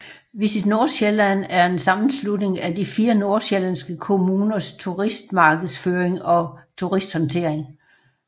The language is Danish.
VisitNordsjælland er en sammenslutning af de 4 nordsjællandske kommuners turismemarkedsføring og turisthåndtering